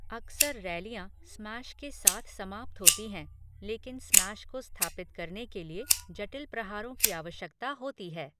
अक्सर रैलियाँ स्मैश के साथ समाप्त होती हैं, लेकिन स्मैश को स्थापित करने के लिए जटिल प्रहारों की आवश्यकता होती है।